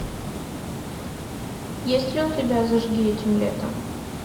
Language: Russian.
есть ли у тебя зажги этим летом